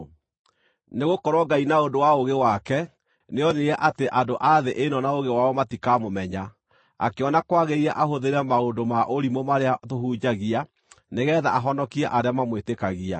Nĩgũkorwo Ngai na ũndũ wa ũũgĩ wake nĩonire atĩ andũ a thĩ ĩno na ũũgĩ wao matikaamũmenya, akĩona kwagĩrĩire ahũthĩre maũndũ ma ũrimũ marĩa tũhunjagia nĩgeetha ahonokie arĩa mamwĩtĩkagia.